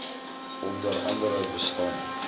onder andere bestaan